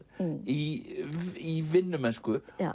í vinnumennsku